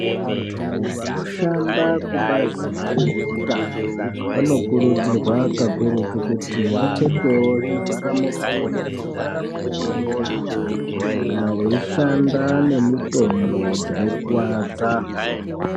Antu vanoshanda kubazi rezvehutano vanokurudzirwa kakuruta kuti vapfeke zvivhara muromo nezvivhara muviri kakurutu nenyara kana veishanda nemitombo dzinokuvadza.